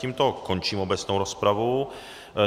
Tímto končím obecnou rozpravu.